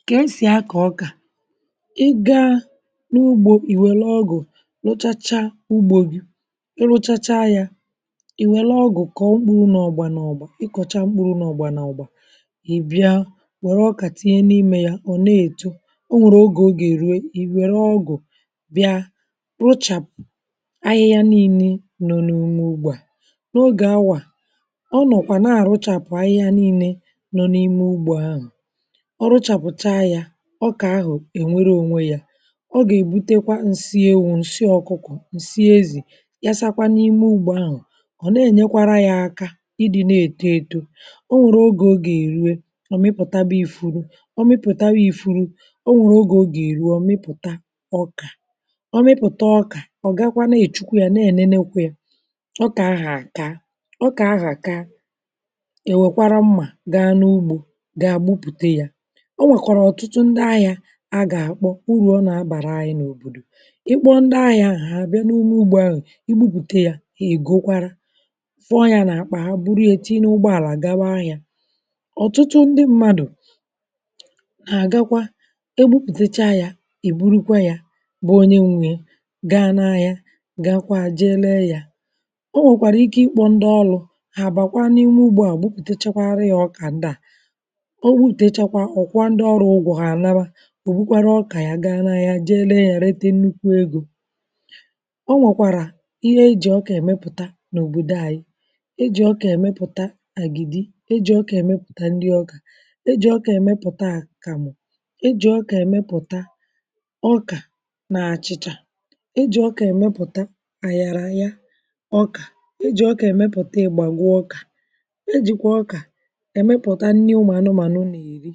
Nkà e sì akọ̀ ọkà — ị gaa n’ugbȯ, ị̀ wère ọgụ̀, nụchacha ugbo gị, ị rụchacha yȧ. Ị̀ wère ọgụ̀, kà ọ mkpụrụ nà ọgbà nà ọgbà; ị kọ̀chaa mkpụrụ nà ọgbà nà ọgbà, ị bịa, wère ọkà, tinye n’imė yȧ. Ọ̀ na-èto, o nwèrè ogè, o gà-èrue. Ị wère ọgụ̀, bịa, broochapụ ahịhịa nille nọ̀ n’ume ụgbọ̀ à.N’ogè awà, ọ nọkwà n’àrụchapụ ahịhịa nille nọ̀ n’ime ụgbọ̀ ahụ̀. Ọrụchàpụ̀ta yȧ ọkà ahụ̀; ènwere ònwe yȧ, o gà-èbutekwa ǹsị ewu̇, ǹsị ọkụkọ̀, ǹsị ezì, yasakwa n’ime ugbȯ ahụ̀. Ọ̀ na-ènyekwara yȧ aka ịdị̇ na-èto eto. O mipụ̀ta bụ̀ ifuru, o mịpụ̀ta bụ̀ ifuru; o mịpụ̀ta ọkà — ọ mịpụ̀ta ọkà. Ọ gàkwa na-èchukwa yȧ, na-ènenekwe yȧ ọkà ahụ̀ àka. Ọkà ahụ̀ àka, èwèkwara mmà, gà n’ugbȯ, gà agbụpụ̀te yȧ. um O nwèkọ̀rọ̀ ọ̀tụtụ ndị ahịȧ, a gà-àkpọ urù ọ nà-abàra anyị̇ n’òbòdò. Ịkpọ ndị ahịȧ ahụ̀, hà àbịa n’ụmụ ugbȯ ahụ̀, igbupùte yȧ. Ègokwarȧ, fọọ yȧ n’àkpà, hà buru ya, echa, ịn’ụgbọ àlà, gawa ahịȧ. Ọ̀tụtụ ndị mmadụ̀ nà-àgakwa egbupùtecha yȧ. Ị̀ burukwa yȧ, bụ onye nwèe, gaa n’ahịa, gà-akwa, jee lee yȧ. O nwèkwàrà ike, ịkpọ̇ ndị ọlụ̇; hà àbàkwa n’ịnwụ ugbȧ à, gbupùtechakwara yȧ. Ọkà ndị à, ọba ndị ọrụ, ụgwọ̀ hanaba — bụkwara ọkà ya. Gaa n’anya, jee legharịta nnukwu egȯ.Ọ nwọkwara ihe e jì ọkà emepụta n’obodo anyị̇: e jì ọkà emepụta agidi, e jì ọkà emepụta ndị ọkà, e jì ọkà emepụta àkamụ̀, e jì ọkà emepụta ọkà na àchịchà. E jì ọkà emepụta àgharanye ọkà, e jì ọkà emepụta egbagwa ọkà, e jìkwà ọkà emepụta nni̇ ụmụ̀anụmànụ nà-èri,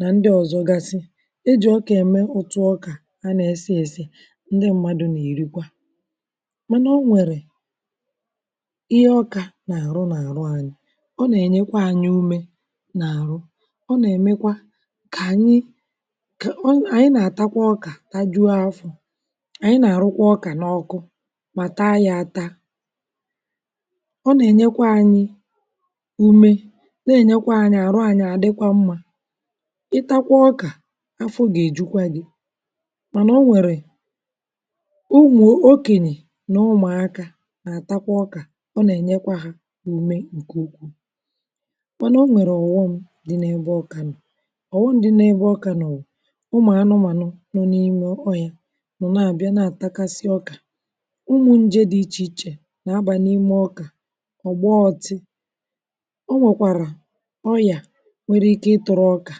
nà ndị ọ̀zọgasị e jì ọkà ème. Otu ọkà a nà-èsi ėsi̇, um ndị mmadụ̇ nà-èrikwa. Mànà o nwèrè ihe ọkà nà-àrụ̇ n’àrụ̇ anyị̇. Ọ nà-ènyekwa anyị̇ umė n’àrụ̇; ọ nà-èmekwa kà ànyị̇ kà ọ ànyị̇ nà-àtakwa ọkà, tajuụ afọ̀. Ànyị̇ nà-àrụkwa ọkà n’ọkụ, mà taa yȧ, ata, ọ nà-ènyekwa anyị̇ ị takwa ọkà. Àfọ gà-èjukwa gị. Mànà o nwèrè, ǹmụ̀ okènyè nà ụmụ̀akȧ àtakwa ọkà; ọ nà-ènyekwa hȧ umè ǹkè ukwuù. Mànà o nwèrè ọ̀ghọm dị n’ebe ọkà nọ̀ — ọ̀ghọm dị n’ebe ọkà nọ̀ bụ̀, um umùànùmànù nọ n’ime ọhịȧ, mụ̀rụ̀, na-àbịa n’àtakasị ọkà. Ǹmụ̇ njė dị ichè ichè nà-abà n’ime ọkà; ọ̀gbọọtị nwere ike ịtụrụ ọkà.